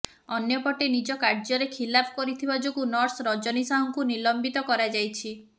ଅନ୍ୟପଟେ ନିଜ କାର୍ଯ୍ୟରେ ଖିଲାପ କରିଥିବା ଯୋଗୁଁ ନର୍ସ ରଜନୀ ସାହୁଙ୍କୁ ନିଲମ୍ବିତ କରାଯାଇଛି